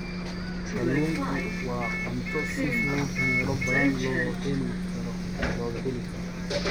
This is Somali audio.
Kalluunku waa cunto si fudud meelo badan looga heli karo.